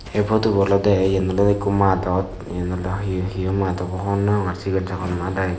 e putubo olodey yen olodey ikko madot yen oley hiyo mat abw hobor nw pangor sigon sagon mat i iben.